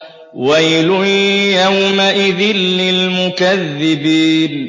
وَيْلٌ يَوْمَئِذٍ لِّلْمُكَذِّبِينَ